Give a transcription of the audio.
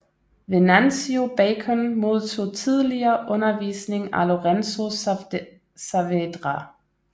Venancio Bacon modtog tidligere undervisning af Lorenzo Saavedra